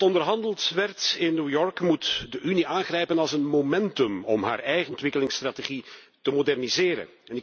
Wat onderhandeld werd in New York moet de Unie aangrijpen als een momentum om haar eigen ontwikkelingsstrategie te moderniseren.